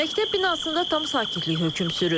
Məktəb binasında tam sakitlik hökm sürür.